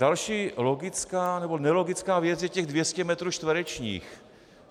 Další logická nebo nelogická věc je těch 200 metrů čtverečních.